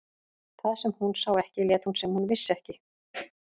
Það sem hún sá ekki lét hún sem hún vissi ekki.